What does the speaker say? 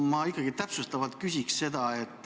Ma ikkagi täpsustavalt küsin seda.